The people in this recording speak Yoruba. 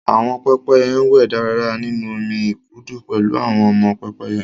Àwọn pẹ́pẹ́yẹ ń wẹ̀ dáradára nínú omi ìkùdu pẹ̀lú àwọn ọmọ pẹ́pẹ́yẹ